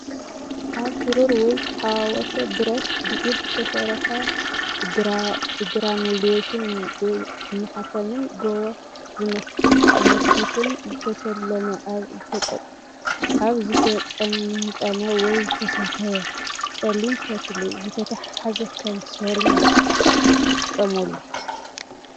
ካብ ብሩር ወይ ዝተሓዋወሰ ብረት ብኢድ ዝተሰርሐ ብግራኑሌሽን፣ ብማሕተምን ጎቦ ዝመስል ሞቲፍን ዝተሰለመ ኣብ ዝተጠምጠመ ወይ ዝተሰፍየ ጸሊም ፈትሊ ዝተተሓሓዘ ከም ስልማት ይጥቀሙሉ።